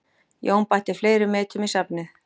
Jón bætti fleiri metum í safnið